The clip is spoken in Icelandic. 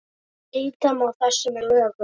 Breyta má þessu með lögum